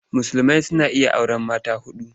Musulmai suna iya auren mata huɗu.